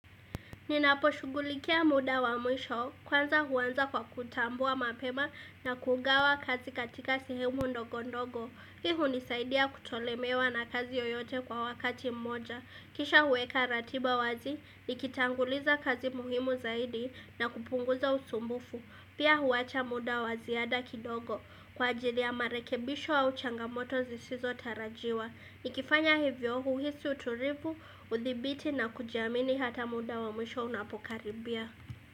Ninaposhughulikia muda wa mwisho, kwanza huanza kwa kutambua mapema na kugawa kazi katika sehemu ndogo ndogo. Hii nisaidia kutolemewa na kazi yoyote kwa wakati mmoja. Kisha huweka ratiba wazi, nikitanguliza kazi muhimu zaidi na kupunguza usumbufu. Pia huwacha muda waziada kidogo. Kwa ajili ya marekebisho au changamoto zisizo tarajiwa. Nikifanya hivyo huisi uturibu, udhibiti na kujiamini hata muda wa mwisho unapokaribia.